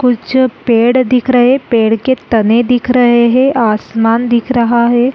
कुछ पेड़ दिख रहे है पेड़ के तने दिख रहे है आसमान दिख रहा है।